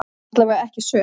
Allavega ekki söm.